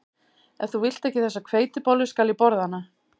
Ef þú vilt ekki þessa hveitibollu skal ég borða hana